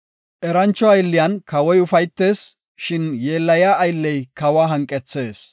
Erancho aylletanan kawoy ufaytees; shin yeellaya aylley kawa hanqethees.